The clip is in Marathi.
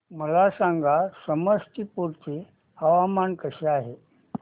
मला सांगा समस्तीपुर चे हवामान कसे आहे